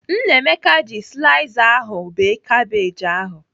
Nnameka ji slaiza ahụ bee kabej ahụ.